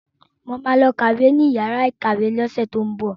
Mo ma lọ kàwé ní yàrá ìkàwé ní ọ̀sẹ̀ tó ń bọ̀